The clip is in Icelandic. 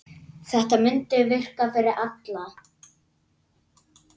Þetta mundi virka fyrir alla.